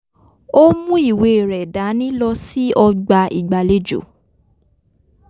ó mú ìwé rẹ̀ dání lọ sí ọgbà ìgbàlejò